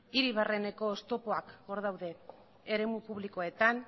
hiri barreneko oztopoak hor daude eremu publikoetan